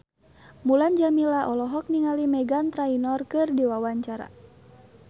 Mulan Jameela olohok ningali Meghan Trainor keur diwawancara